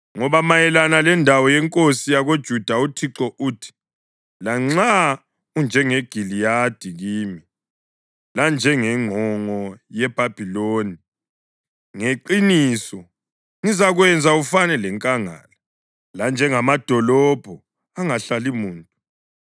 Ngoba mayelana lendawo yenkosi yakoJuda uThixo uthi: “Lanxa unjengeGiliyadi kimi, lanjengengqongo yeLebhanoni, ngeqiniso ngizakwenza ufane lenkangala, lanjengamadolobho angahlali muntu.